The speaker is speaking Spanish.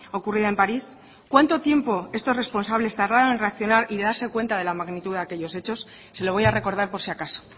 ocurrida en parís cuánto tiempo estos responsables tardaron en reaccionar y darse cuenta de la magnitud de aquellos hechos se lo voy a recordar por si acaso